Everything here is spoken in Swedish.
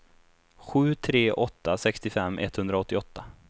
sju tre åtta två sextiofem etthundraåttioåtta